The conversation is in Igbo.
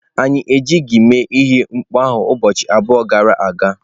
Anyị ejighị mee ihe mkpọ ahụ ụbọchị abụọ gara aga.